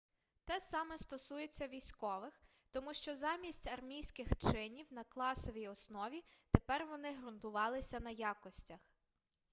те саме стосується військових тому що замість армійських чинів на класовій основі тепер вони грунтувалися на якостях